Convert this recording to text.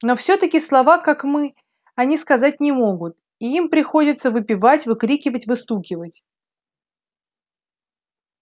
но всё-таки слова как мы они сказать не могут и им приходится выпевать выкрикивать выстукивать